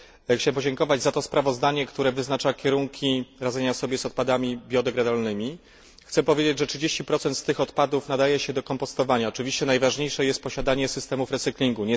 Chciałem podziękować za to sprawozdanie, które wyznacza kierunki radzenia sobie z odpadami biodegradowalnymi. Chcę powiedzieć, że 30 z nich nadaje się do kompostowania. Oczywiście najważniejsze jest posiadanie systemów recyklingu.